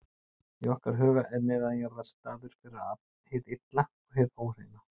Í okkar huga er neðanjarðar staður fyrir hið illa og hið óhreina.